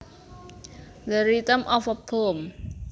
The rhythm of a poem